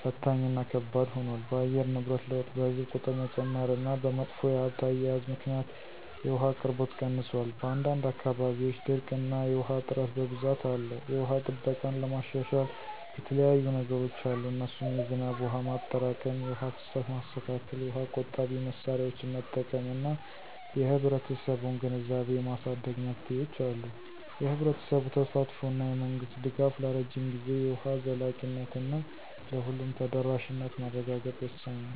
ፈታኝ እና ከባድ ሆኗል። በአየር ንብረት ለውጥ፣ በሕዝብ ቁጥር መጨመር እና በመጥፎ የሀብት አያያዝ ምክንያት የውሃ አቅርቦት ቀንሷል። በአንዳንድ አካባቢዎች ድርቅ እና የውሃ እጥረት በብዛት አለ። የውሃ ጥበቃን ለማሻሻል የተለያዩየ ነገሮች አሉ እነሱም የዝናብ ውሃ ማጠራቀም፣ የውሃ ፍሳሽ ማስተካከል፣ የውሃ ቆጣቢ መሳሪያዎችን መጠቀም እና የህብረተሰቡን ግንዛቤ የማሳደግ መፍትሄዎች አሉ። የህብረተሰቡ ተሳትፎ እና የመንግስት ድጋፍ ለረጅም ጊዜ የውሃ ዘላቂነት እና ለሁሉም ተደራሽነት ማረጋገጥ ወሳኝ ነው